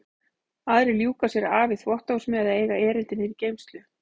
Aðrir ljúka sér af í þvottahúsinu eða eiga erindi niður í geymslu.